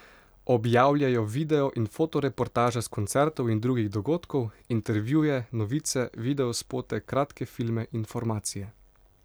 Objavljajo video in foto reportaže s koncertov in drugih dogodkov, intervjuje, novice, videospote, kratke filme, informacije ...